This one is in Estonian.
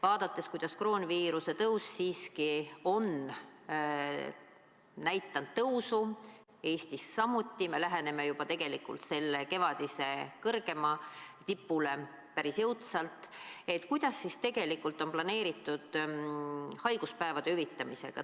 Vaadates, kuidas kroonviirus siiski on näidanud tõusu Eestis samuti, me läheneme juba kevadisele kõrgeimale tipule päris jõudsalt, siis kuidas on planeeritud haiguspäevade hüvitamine?